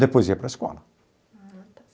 Depois ia para a escola. Ah, tá.